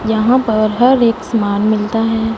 यहां पर हर एक समान मिलता है।